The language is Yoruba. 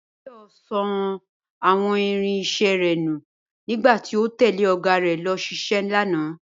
Báyò̩ so̩ àwo̩n irin-is̩é̩ rè̩ nù nígbà tí ó tè̩lé ò̩gá rè̩ lo̩ s̩isé lánàá